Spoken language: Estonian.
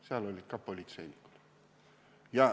Seal olid politseinikud.